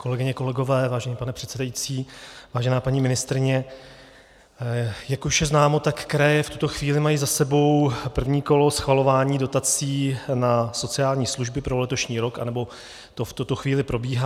Kolegyně, kolegové, vážený pane předsedající, vážená paní ministryně, jak už je známo, tak kraje v tuto chvíli mají za sebou první kolo schvalování dotací na sociální služby pro letošní rok, anebo to v tuto chvíli probíhá.